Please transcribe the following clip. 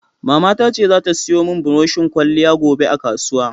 Mamata ta ce za ta siyo mun buroshin ƙwaliya gobe a kasuwa.